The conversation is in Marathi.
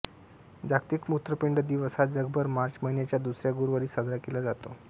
जागतिक मूत्रपिंड दिवस हा जगभर मार्च महिन्याच्या दुसऱ्या गुरुवारी साजरा केला जातो